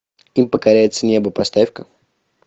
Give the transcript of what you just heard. им покоряется небо поставь ка